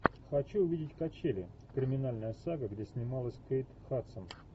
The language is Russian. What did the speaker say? хочу увидеть качели криминальная сага где снималась кейт хадсон